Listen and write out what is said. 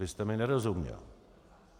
Vy jste mi nerozuměl.